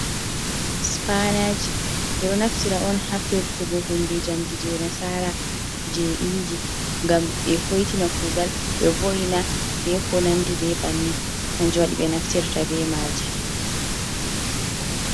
Spanaji ɓeɗo naftira on ha firtugo hunde jamdi je nasara je’inji ngam ɓe hoitina kugal ɓe vo'ina be ko nandi be banni kanjum waɗi be naftirta be maji.